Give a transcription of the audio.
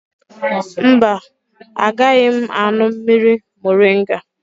Mba, agaghị aṅụ mmiri moringa